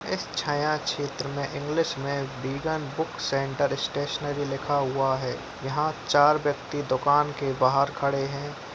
इस छाया शेत्र में इंग्लिश मे विगन बुक सेंटर स्टेशनरी लिखा हुआ है यहा चार व्यक्ति दुकान के बाहर खड़े है।